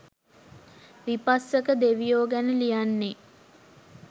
විපස්සක දෙවියෝ ගැන ලියන්නේ.